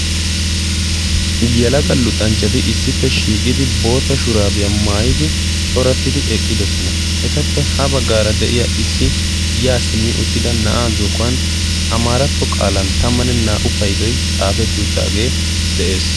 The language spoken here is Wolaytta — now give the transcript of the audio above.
yalaga luxanchchati issippe shiiqidi bootta shuraabiyaa maayidi corattidi eqqidosona etappe ha baggaara de7iya issi yaa simmi uttida na7aa zokkuwan amaaratto qaalan tammanne naa77u paidoi xaafetti uttaagee de7ees